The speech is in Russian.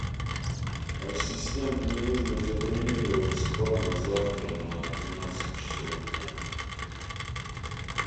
ассистент мне нужно забронировать спа на завтра на двенадцать часов дня